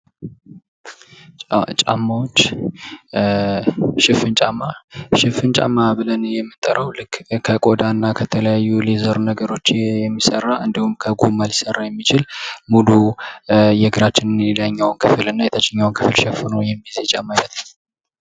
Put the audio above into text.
ጫማዎች ሽፍን ጫማ:- ሽፍን ጫማ ብለን የምንጠራዉ ልክ ከቆዳ እና ከተለያዩ ሌዘር ነገሮች የሚሰራና ከጎማ ሊሰራ የሚችል ሙሉ የእግራችንን የላይኛዉ ክፍል እና የታችኛዉን ክፍል ሸፍኖ የሚይዝ የጫማ አይነት ነዉ።